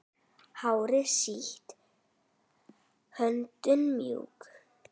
Hárið sítt, höndin mjúk.